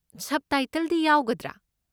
ꯁꯕꯇꯥꯏꯇꯜꯗꯤ ꯌꯥꯎꯒꯗ꯭ꯔꯥ?